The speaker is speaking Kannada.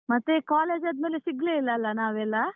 ಮತ್ತೆ, college ಆದ್ಮೇಲೆ ಸಿಗ್ಲೇ ಇಲ್ಲ ಅಲ್ಲ ನಾವೆಲ್ಲ?